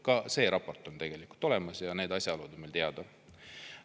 Ka see raport on tegelikult olemas ja need asjaolud on meile teada.